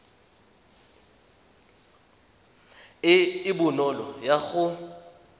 e e bonolo ya go